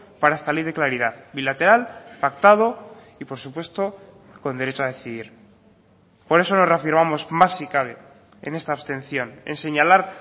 para esta ley de claridad bilateral pactado y por supuesto con derecho a decidir por eso nos reafirmamos más si cabe en esta abstención en señalar